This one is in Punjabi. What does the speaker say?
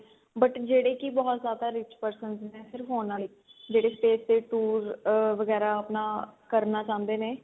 but ਜਿਹੜੇ ਕੀ ਬਹੁਤ ਜਿਆਦਾ rich person ਨੇ ਸਿਰਫ ਉਹਨਾ ਲਈ ਜਿਹੜੇ face ਤੇ ਅਹ ਵਗੇਰਾ ਆਪਣਾ ਕਰਨਾ ਚਾਹੁੰਦੇ ਨੇ